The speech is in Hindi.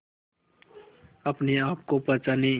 अपने आप को पहचाने